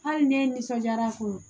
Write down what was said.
Hali ne ye n nisɔndiyara kun